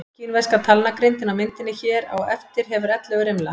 Kínverska talnagrindin á myndinni hér á eftir hefur ellefu rimla.